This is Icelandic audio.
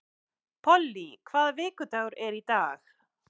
Polly, hvaða vikudagur er í dag?